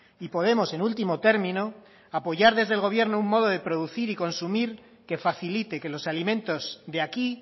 y podemos en último término apoyar desde el gobierno un modo de producir y consumir que facilite que los alimentos de aquí